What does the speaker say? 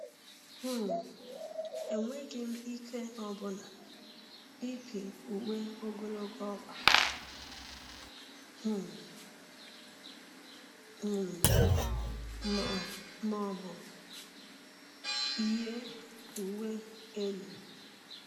um Enweghị m ike ọbụna ịpị uwe ogologo ọkpa um m ma ọ bụ yi uwe elu.